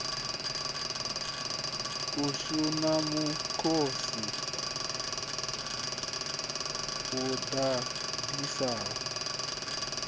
ashu na mukosi u ḓaḓisaho